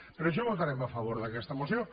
per això votarem a favor d’aquesta moció